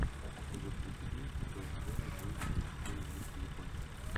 эпизод тридцать девять шестого сезона жизнь и приключения мишки япончика